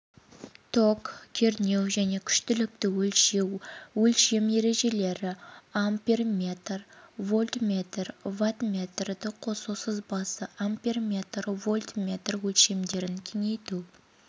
ток кернеу және күштілікті өлшеу өлшем ережелері амперметр вольтметр ваттметрді қосу сызбасы амперметр вольтметр өлшемдерін кеңейту